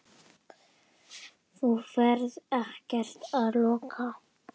Þú ferð ekkert að loka!